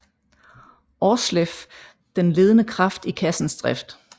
Aarsleff den ledende kraft i kassens drift